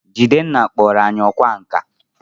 Jidenna kpọrọ anyi ọkwá nkà